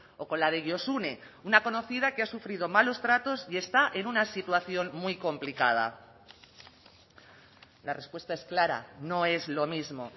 o con la de josune una conocida que ha sufrido malos tratos y está en una situación muy complicada la respuesta es clara no es lo mismo